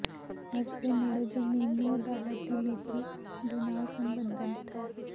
ਇਸ ਦੇ ਨੇੜੇ ਜ਼ਮੀਨ ਨੂੰ ਅਦਾਲਤ ਦੀ ਨੇਕੀ ਦੇ ਨਾਲ ਸਬੰਧਤ ਹਨ